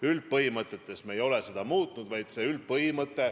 Üldpõhimõtteid me ei ole muutnud.